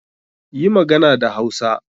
Yi magana da Hausa!